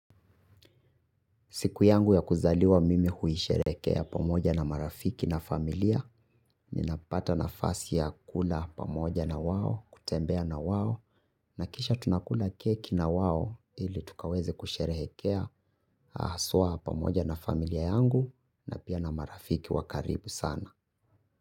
Siku yangu ya kuzaliwa mimi huisherekea pamoja na marafiki na familia, ninapata na fasi ya kula pamoja na wao, kutembea na wao, na kisha tunakula keki na wao ili tukaweze kusherekea aswa pamoja na familia yangu na pia na marafiki wakaribu sana.